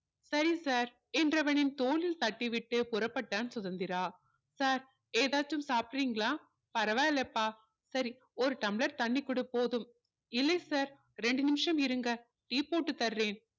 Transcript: சரி sir என்றவனின் தோளில் தட்டிவிட்டு புறப்பட்டான் சுதந்திரா sir ஏதாவது சாப்பிடுறீங்களா பரவாயில்லைப்பா சரி ஒரு tumbler தண்ணி கொடு போதும் இல்லை sir இரண்டு நிமிஷம் இருங்க tea போட்டு தர்றேன்